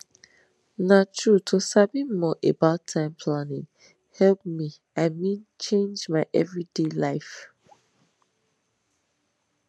na true to sabi more about time planning help mei meanchange my every day life